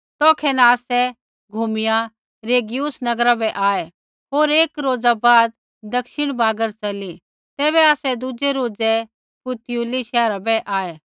तौखै न आसै घूमिया रेगियुम नगरा बै आऐ होर एक रोज़ा बाद दक्षिणी बागर च़ली तैबै आसै दुज़ै रोज़ै पुतियुली शैहरा बै आऐ